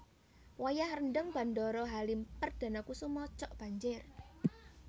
Wayah rendheng Bandara Halim Perdanakusuma cok banjir